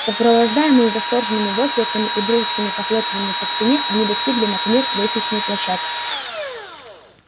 сопровождаемые восторженными возгласами и дружескими похлопываниями по спине они достигли наконец лестничной площадки